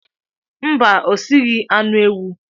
Mba, o sieghi anụ ewu.